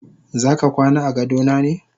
Zaka kwana agadona ne?